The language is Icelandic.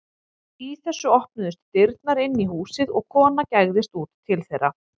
Í þessu opnuðust dyrnar inn í húsið og kona gægðist út til þeirra.